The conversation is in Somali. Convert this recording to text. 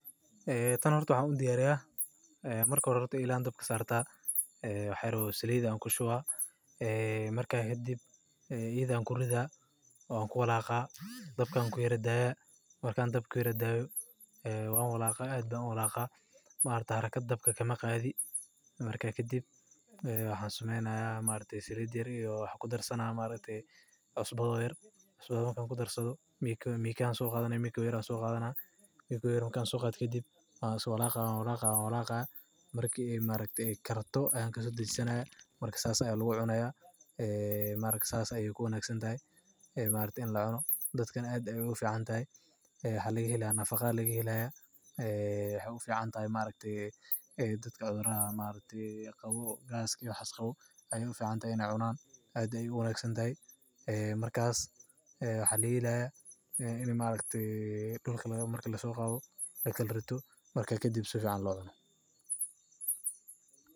Ee tabn horta waxan udiyariya ee marka hore ela ayan dabka sarta wax yar oo salid ayan kushuba wan walaqa dabka ayan udaya haraka dabka kamaqadhi salid yar ayan kudarsadha wan walaqa sal ayannu cuna dadkana aad ayey ogu ficantahay dadkana aad ayey ogu wanagsantahy in lakala rito marka kadib sifican lo cuno.